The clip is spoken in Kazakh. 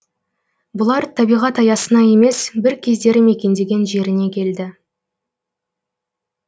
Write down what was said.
бұлар табиғат аясына емес бір кездері мекендеген жеріне келді